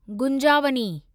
गुंजावनी